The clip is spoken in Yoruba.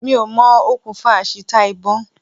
Mi ò mọ okùnfà àṣìta ìbọn.